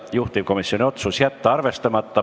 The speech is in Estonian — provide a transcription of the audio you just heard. Juhtivkomisjoni otsus: jätta arvestamata.